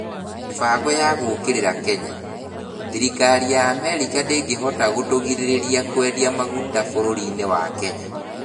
Mĩbango ya Gũũkĩrĩra Kenya: Thirikari ya Amerika ndĩngĩhota gũtũgirĩrĩria kwendia maguta bũrũri-inĩ wa Kenya.